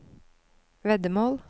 veddemål